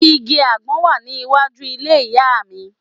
Igi àgbọn wà ní iwájú ilé ìyá à mi